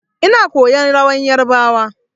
Ina koyan rawar yarbawa.